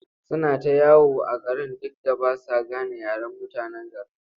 Suna ta yawo a gari duk da ba sa gane yaren mutanen garin.